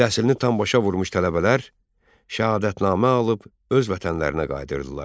Təhsilini tam başa vurmuş tələbələr şəhadətnamə alıb öz vətənlərinə qayıdırdılar.